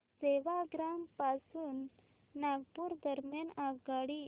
सेवाग्राम पासून नागपूर दरम्यान आगगाडी